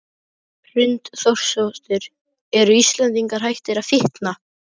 Hrund Þórsdóttir: Eru Íslendingar hættir að fitna?